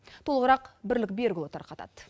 толығырақ бірлік берікұлы тарқатады